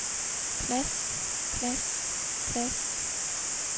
plads plads plads